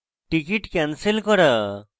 ticket cancel করা